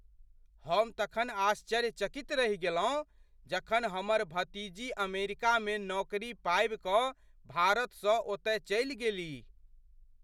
हम तखन आश्चर्यचकित रहि गेलहुँ जखन हमर भतीजी अमेरिकामे नौकरी पाबि कऽ भारतसँ ओतय चलि गेलीह।